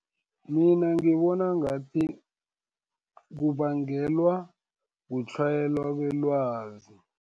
Mina ngibona ngathi, kubangelwa kutlhayela kwelwazi.